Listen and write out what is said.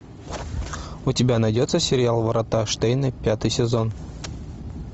у тебя найдется сериал врата штейна пятый сезон